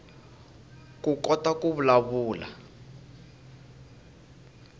koukota ku vulavula